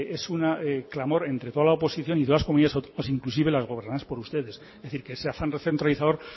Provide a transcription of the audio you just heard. es un clamor entre toda la oposición y todas las comunidades autónomas inclusive las gobernadas por ustedes es decir que ese afán recentralizador